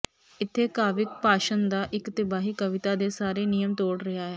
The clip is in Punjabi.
ਇੱਥੇ ਕਾਵਿਕ ਭਾਸ਼ਣ ਦਾ ਇੱਕ ਤਬਾਹੀ ਕਵਿਤਾ ਦੇ ਸਾਰੇ ਨਿਯਮ ਤੋੜ ਰਿਹਾ ਹੈ